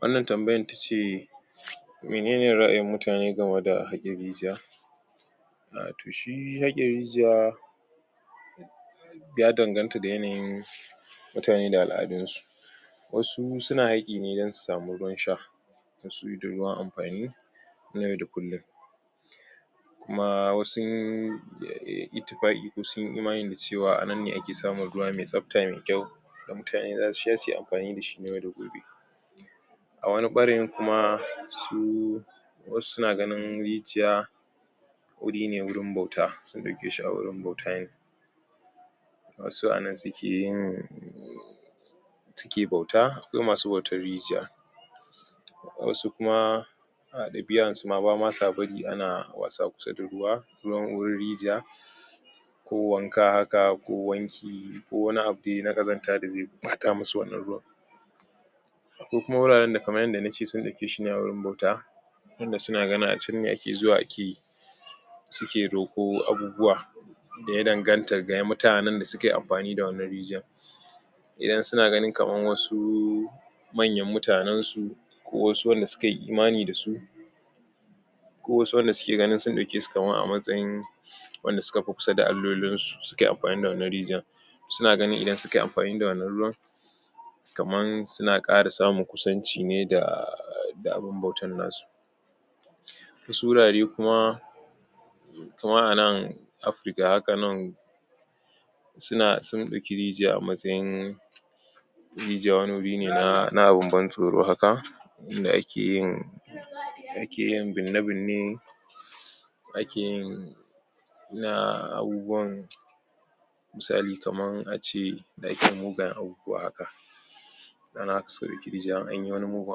Wannan tambayan tace: menene ra'ayin mutane game da haƙon rijiya" um toh shi haƙin rijiya, ya danganta da yanayin mutane da al'adun su, wasu su na haƙi ne, don su sami ruwan sha, wasu ruwan amfani na yau da kullum. Kuma wasun ittiƙafi ko sun yi imanim da cewa anan ne ake samun ruwa mai tsafta mai kyau da mutane za su sha, su yi amfani da shi na yau da gobe. A wani ɓarayin kuma, su wasu na ganin rijiya, wuri ne wurin bauta, sun ɗauke shi a wurin bauta ne. Wasu a nan su ke yin su ke bauta, akwai masu bautar rijiya. Wasu kuma a ɗabi'ar su ma, ba ma su bari a na wasa kusa da ruwa, ruwan wurin rijiya ko wanka haka, ko wanki, ko wani abu dai na ƙazanta da zai ɓata musu wannan ruwan. Akwai kuma wuraren da kamar yadda nace su ɗauke shi ne a wurin ɓauta wanda su na ganin a can ne ake zuwa ana yi su ke roƙo abubuwa, da ya danganta da mutanen da su kayi amfani da wannan rijiyar. Idan su na ganin kamar wasu manyan mutanen su, ko wasu wanda su kayi imani da su, ko wasu wanda suke ganin sun ɗauke su kamar a matsayin wanda su ka fi kusa da allolinsu, su ka yi amfani da wannan rijiyar. su na ganin idan su kayi amfani da wanna ruwan, kaman su na ƙara samun kusanci ne da daa abin bautan nasu. Wasu wurare kuma, kaman anan Afrika haka nan su na sun ɗauki rijiya a matsayin rijiya wani wuri ne na na abin ban tsoro haka, in da ake yin da ake yin binne-binne ake yin na abubuwan misali kaman ace: da ake mugayen abubuwa haka. Ana so in anyi mugun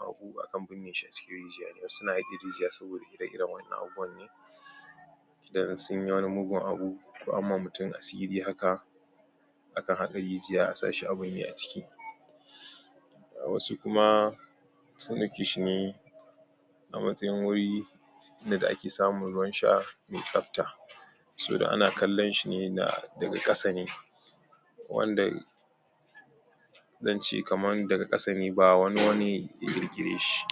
abu, akan binne shi a cikin rijiya ne, wasu na haƙin rijya saboda ire-irenwannan abubuwan ne, idan sun yi wani mugun abu, ko anyi ma mutum asiri haka, a kan haƙa rijiya a sa shi a binne aciki. Wasu kuma sun ɗauke shi ne a matsayin wuri ake samun ruwan sha mai tsafta, saboda ana kallon shi ne na daga ƙasa ne, wanda zan ce kamar daga ƙasa ne, ba wani bane ya ƙirkire shi.